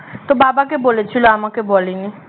তো বাবাকে বলেছিল আমাকে বলেনি